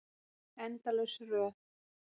Endalaus röð.